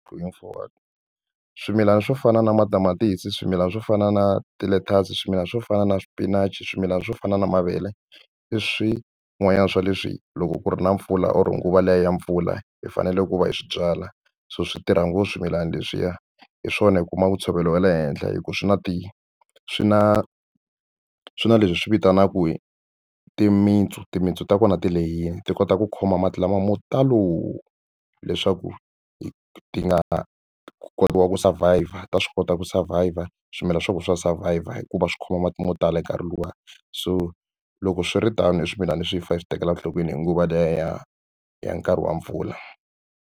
Going forward swimilana swo fana na matamatisi swimilana swo fana na ti-lettuce swimilana swo fana na swipinachi swimilana swo fana na mavele i swin'wana swa leswi loko ku ri na mpfula or nguva leyi ya mpfula hi fanele ku va hi swi byala so swi tirha ngopfu swimilana leswiya hi swona i kuma ntshovelo wa le henhla hikuva swi na ti swi na swi na leswi hi swi vitanaku timintsu timintsu ta kona ti lehini ti kota ku khoma mati lama mo talo leswaku ti nga kota ku survivor ta swi kota ku survivor swimilana swa vona swa survivor hikuva swi khoma mati mo tala hi nkarhi luwani so loko swi ri tano i swimilana leswi hi fane hi swi tekela enhlokweni hi nguva leyi ya ya ya nkarhi wa mpfula.